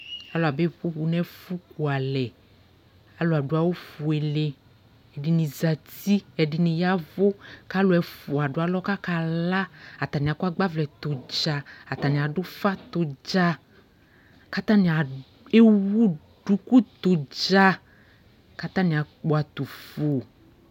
Alʋ abe poƒu nʋɛfʋ kualɛ Alʋ adʋ awʋ fuele, ɛdιnι zati, ɛdιnι yavʋ, kʋ alʋ ɛfʋa dʋ alɔ kʋ akala Atanι akɔ agbavlɛ tɛ ʋdza, atanι adʋ ʋfa tɛ ʋdza, kʋ atanι ewu duku tɛ ʋdza, kʋ atani akpɔ atufu